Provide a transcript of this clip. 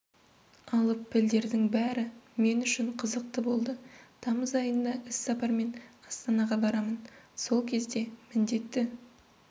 алып пілдердің бәрі мен үшін қызықты болды тамыз айында іссапармен астанаға барамын сол кезде міндетті